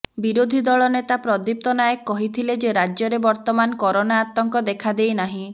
ବିରୋଧୀ ଦଳ ନେତା ପ୍ରଦୀପ୍ତ ନାୟକ କହିଥିଲେ ଯେ ରାଜ୍ୟରେ ବର୍ତ୍ତମାନ କରୋନା ଆତଙ୍କ ଦେଖାଦେଇନାହିଁ